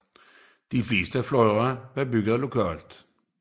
De fleste fly var bygget lokalt